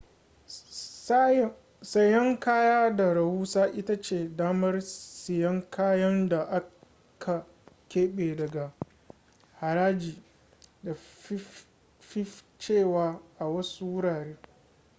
sayan kaya ta rahusa ita ce damar siyan kayan da aka kebe daga haraji da fifcewa a wasu wurare